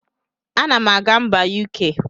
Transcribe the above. Anam aga mba UK.